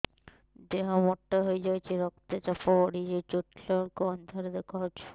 ଦେହ ମୋଟା ହେଇଯାଉଛି ରକ୍ତ ଚାପ ବଢ଼ି ଯାଉଛି ଉଠିଲା ବେଳକୁ ଅନ୍ଧାର ଦେଖା ଯାଉଛି